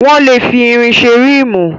Wọ́n lè fi irin ṣe ríìmù.